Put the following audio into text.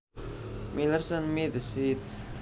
Miller sent me the seeds